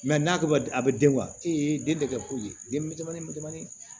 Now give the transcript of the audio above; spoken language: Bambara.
n'a tɔgɔ a bɛ den e denkɛ ko ye den